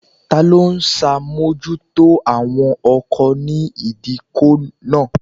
Ta ló ń ṣàmójútó àwọn ọkọ̀ ní ìdíkọ̀ náà?